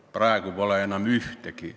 Praegu pole enam ühtegi.